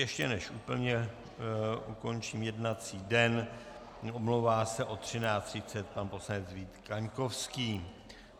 Ještě než úplně ukončím jednací den, omlouvá se od 13.30 pan poslanec Vít Kaňkovský.